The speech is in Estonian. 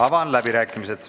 Avan läbirääkimised.